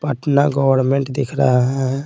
Patna government दिख रहा है।